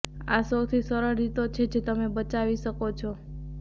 આ સૌથી સરળ રીતો છે જે તમે બચાવી શકો છો